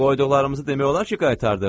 Qoyduqlarımızı demək olar ki, qaytardıq.